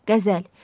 Qəzəl.